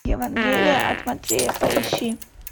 евангелие от матвея поищи